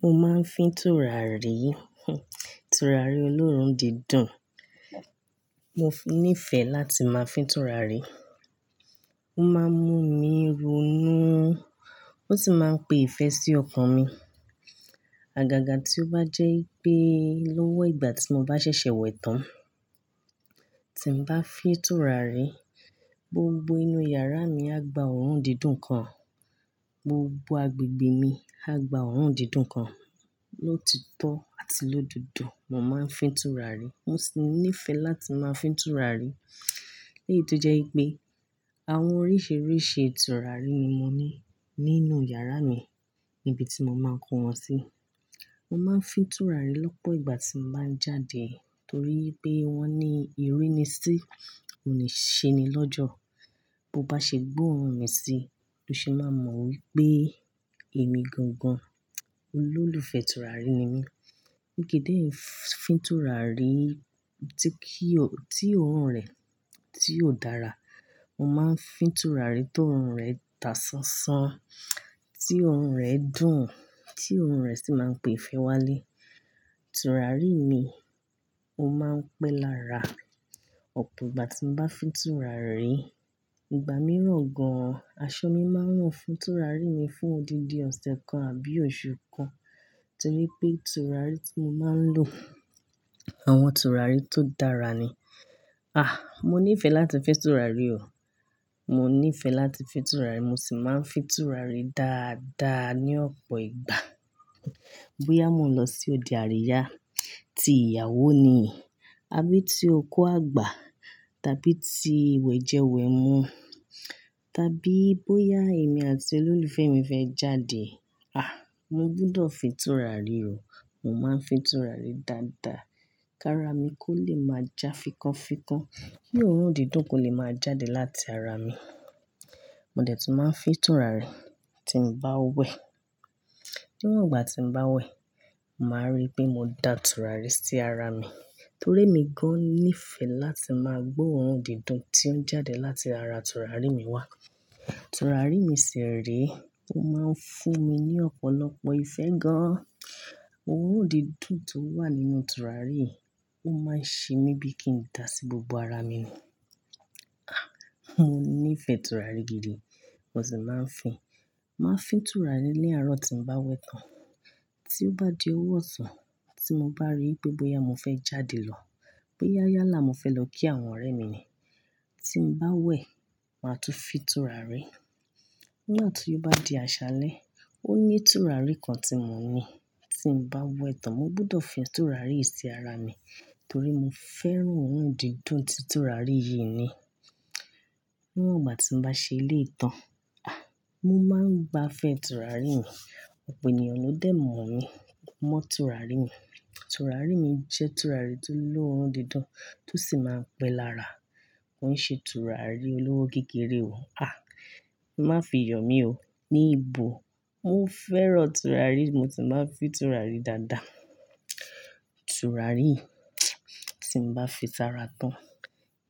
Mo máa ń fín tùràrí, tùràrí olóòórùn dídùn. Mo níìfẹ̀ láti máa fín tùràrí. Ó máa ń mú mi ronú, ó sì máa ń pe ìfẹ́ sí ọkàn mi. Àgàgà tí ó bá jẹ́ pé lówó ìgbà tí mo bá ṣẹ̀ṣẹ̀ wẹ tán, tí n bá fín tùràrí, gbogbo inú yàrá mi á gba òórùn dídùn kan, gbogbo agbègbè mi á gba òórùn dídùn kan. Ló ti tó àti lódodo, mo máa ń fín tùràrí. Mo sì níìfẹ̀ láti máa fín tùràrí. Lẹ́yì tó jẹ wipé àwọn oríṣiríṣi tùràrí ni mo ní nínú yàrá mi níbi tí mo máa ń kó wọn sí. Mo máa ń fín tùràrí lọ́pọ̀ ìgbà tí mo bá ń jáde torí pé wọ́n ní ìrínisí, òun ní ṣe'ni lọ́jọ́. Bo bá ṣe gbọ́ òórùn mi sí, lo ṣe máa mọ̀ wípé èmi gangan olólùfẹ́ tùràrí ni mí. Mikì í dé fín tùràrí tí kí ò, tí òórùn rẹ̀ tí ò dára. Mo máa ń fín tùràrí to òórùn rẹ̀ tà ṣanṣan, tí òórùn rẹ̀ dùn, tí òórùn rẹ̀ sì máa ń pe ìfẹ́ wálé. Tùràrí mi, ó máa ń pẹ́ lára. Ọ̀pọ̀ ìgbà tí mo bá fín tùràrí, ìgbà mìíràn gan-an, aṣọ mi máa ń run fún tùràrí mi fún òdí-di-ọ̀sẹ̀ kan àbí oṣù kan. Torí pé tùràrí tí mo máa ń lò àwọn tùràrí tó dára ni. Àh! Mo níìfẹ̀ láti fín tùràrí o. Mo níìfẹ̀ láti fín tùràrí, mo sì máa ń fín tùràrí dáadáa ní ọ̀pọ̀ ìgbà. Bóyá mo n lọ sí ode àríyá, ti ìyàwó ni, àbí ti oku àgbà, tàbí ti iwẹ̀jẹwẹ̀mu, tàbí bóyá èmi àti olólùfẹ́ mi fẹ́ jáde. Àh! Mo gbudọ̀ fín tùràrí o. Mo máa ń fín tùràrí dáadáa, káara mi kó lè máa já fikọ́nfikọ́n. Kí òórùn dídùn kó lè máa jáde láti ara mi. Mo dẹ̀ tún máa ń fín tùràrí tí mo bá wẹ̀. Níwon igbà tí n bá wẹ̀, màá rí pe mo dà tùràrí sí ara mi torí emi gán-an níìfẹ̀ láti máa gbọ́ òórùn dídùn tí ó ń jáde láti ara tùràrí mi wá. Tùràrí mi ṣire, ó máa ń fún mi ní ọ̀pọ̀lọpọ̀ ìfẹ́ gan-an. Òórùn dídùn tó wà nínú tùràrí yi, ó máa ń ṣe mí bí kí n dà sí gbogbo ara mi ni Àh! Mo níìfẹ̀ tùràrí gidi, mo sì máa ń fín. Màá fín tùràrí ní àárọ̀ tí n bá wẹ̀ tán. Tí ó bá di ọwọ́ ọ̀sán, tí mo bá rí pé bóyá mo fẹ́ jáde lọ, bóyá yálà mo fẹ́ lọ kí àwọn ọ̀rẹ́ mi ni, tí n bá wẹ̀, màá tún fín tùràrí. Ní gbààtí ó bá di àṣálẹ́, ó ní tùràrí kan tí mo ní tí n bá wẹ tán, mo gbọdọ̀ fín tùràrí yìí sí ara mi torí mo fẹ́ràn òórùn dídùn tí tùràrí yìí ní. Níwon gbà tí n bá ṣe eléyi tán, àh! Mo máa ń gba fẹ́ tùràrí mi. Ọ̀pọ̀ ènìyàn ló dẹ̀ mọ̀ mí mọ́ tùràrí mi. Tùràrí mi jẹ́ tùràrí tó ló òórùn dídùn tó sì máa ń pẹ́ lára. Mo n ṣe tùràrí olówó kekere o. Àh! Má fi yoo mí o. Ní ìbò, mo fẹ́ràn tùràrí, mo sì máa ń fín tùràrí dáadáa. Tùràrí, tí n bá fín sí ara tán,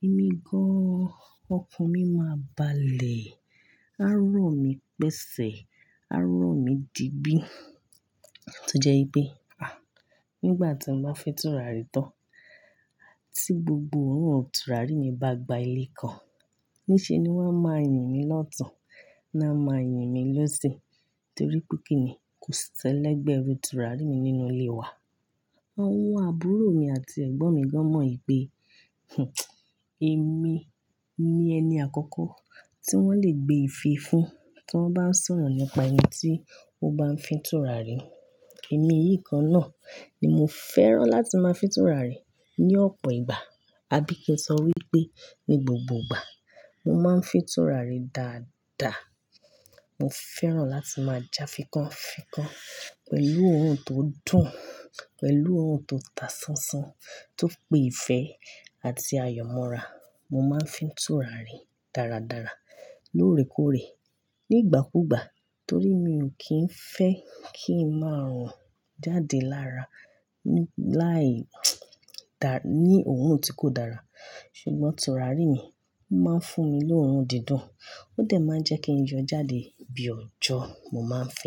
èmi gán-an, ọkàn mi máa bà lé, àárọ̀ mi pẹsẹ̀, àárọ̀ mi dìgbí tó jẹ́ wipe. Àh! Nígbà tí mo bá fín tùràrí tán, tí gbogbo òórùn tùràrí mi bá gba ilẹ̀ kan, ní ṣe ni wọ́n a máa yìn mí lọ́tùn, náà máa yìn mí lọ́sì torí pé kí ni kò sí ẹ́lẹ̀gbẹ́ rù tùràrí mi nínú ilé wa. Àwọn àbúrò mi àti ẹ̀gbọ́n mi gan-an mọ̀ wípé, hhn, èmi ni ẹni àkọ́kọ́ tí wọ́n le gbé ìfe fún tí wọ́n bá sọ̀rọ̀ nípa ẹni tí ó bá ń fín tùràrí. Ẹmi yìí kan náà ni mo fẹ́ràn láti máa fín tùràrí ní ọ̀pọ̀ ìgbà. Abí kẹ́ sọ wípé ní gbogbo ìgbà, mo máa ń fín tùràrí dáadáa. Mo fẹ́ràn láti máa já fikọ́nfikọ́n pẹ̀lú òórùn tó dùn, pẹ̀lú òórùn tó tà ṣanṣan, tó pe ìfẹ́ àti ayọ̀ mọ́ra. Mo máa ń fín tùràrí dáradára lóòrèkóòrè ní ìgbà kú ìgbà torí mi ò kí ń fẹ́ kí ń máa rùn jáde lára láì dà, ní òórùn tí kò dára. Ṣùgbọ́n tùràrí mi, ó máa ń fún mi lóórùn dídùn, ó dẹ̀ máa ń jẹ́ kí n yọ jáde bí ọjọ́. Mo máa ń fín.